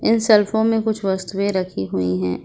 इन सेलफो में कुछ वस्तुएं रखी हुई है।